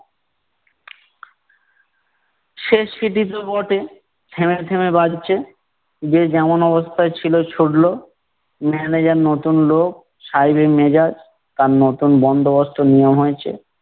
শেষ বটে, থেমে থেমে বাজছে, যে যেমন অবস্থায় ছিল ছুটলো। manager নতুন লোক সায়েবি মেজাজ তার নতুন বন্দোবস্ত নিয়ম হয়েছে।